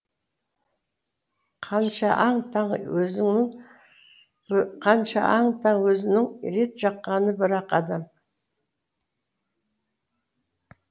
қаныша аң таң өзінің қаныша аң таң өзінің рет жаққаны бір ақ адам